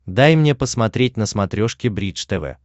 дай мне посмотреть на смотрешке бридж тв